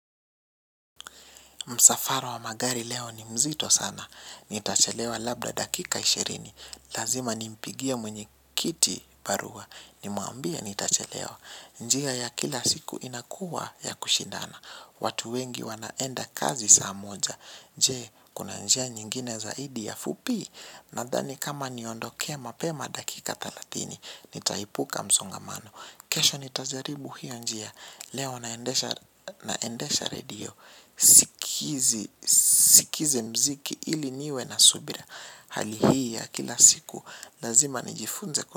Msafara wa magari leo ni mzito sana. Nitachelewa labda dakika ishirini. Lazima nimpigie mwenye kiti barua. Nimwambie nitachelewa. Njia ya kila siku inakuwa ya kushindana. Watu wengi wanaenda kazi saa moja. Je, kuna njia nyingine zaidi ya fupi. Nadhani kama niondo kea mapema dakika talatini. Nitaipuka msongamano. Kesho nitajaribu hiyo njia. Leo naendesha radio. Sikizi mziki ili niwe na subira. Hali hi ya kila siku lazima nijifunze kwa.